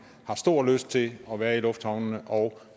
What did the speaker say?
har stor lyst til at være i lufthavnene og